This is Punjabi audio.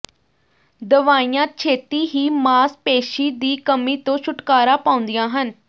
ਦਵਾਈਆਂ ਛੇਤੀ ਹੀ ਮਾਸਪੇਸ਼ੀ ਦੀ ਕਮੀ ਤੋਂ ਛੁਟਕਾਰਾ ਪਾਉਂਦੀਆਂ ਹਨ